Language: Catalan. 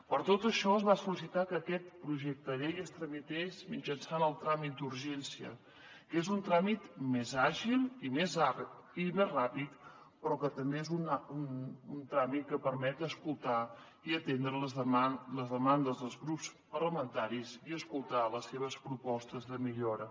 per tot això es va sol·licitar que aquest projecte de llei es tramités mitjançant el tràmit d’urgència que és un tràmit més àgil i més ràpid però que també és un tràmit que permet escoltar i atendre les demandes dels grups parlamentaris i escoltar les seves propostes de millora